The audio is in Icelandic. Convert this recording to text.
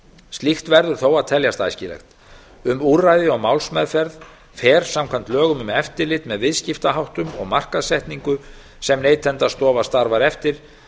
slíkt verður þó að teljast æskilegt um úrræði og málsmeðferð fer samkvæmt lögum um eftirlit með viðskiptaháttum og markaðssetningu sem neytendastofa starfar eftir